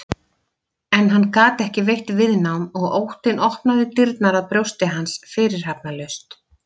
En hann gat ekki veitt viðnám og óttinn opnaði dyrnar að brjósti hans fyrirhafnarlaust.